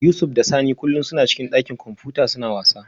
Yusuf da Sani kullum suna cikin dakin kwamfuta suna wasa